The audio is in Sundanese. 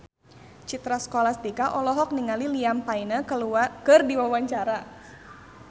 Citra Scholastika olohok ningali Liam Payne keur diwawancara